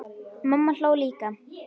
Mamma hló líka.